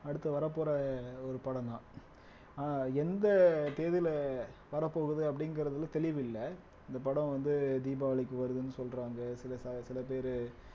அடுத்து வரப்போற ஒரு படம்தான் ஆனா எந்த தேதியில வரப்போகுது அப்படிங்கறதுல தெளிவு இல்ல இந்தப் படம் வந்து தீபாவளிக்கு வருதுன்னு சொல்றாங்க சில ப சில பேரு